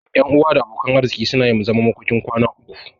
Ƴan uwa da abokan arziki suna yin zaman makokin kwana uku.